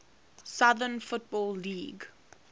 southern football league